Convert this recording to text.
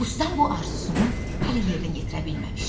Ustam bu arzusunu hələ yerinə yetirə bilməmişdi.